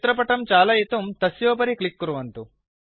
चित्रपटं चालयितुं तस्योपरि क्लिक् कुर्वन्तु